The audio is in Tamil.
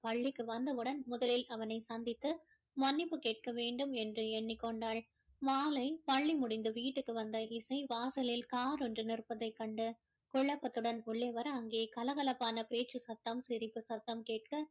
பள்ளிக்கு வந்தவுடன் முதலில் அவனை சந்தித்து மன்னிப்பு கேட்க வேண்டும் என்று எண்ணிக் கொண்டாள் மாலை பள்ளி முடிந்து வீட்டுக்கு வந்த இசை வாசலில் car ஒண்று நிற்பதைக் கண்டு குழப்பத்துடன் உள்ளே வர அங்கே கலகலப்பான பேச்சு சத்தம் சிரிப்பு சத்தம் கேட்க